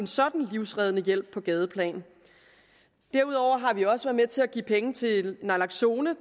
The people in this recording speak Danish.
sådan livreddende hjælp på gadeplan derudover har vi også været med til at give penge til naloxone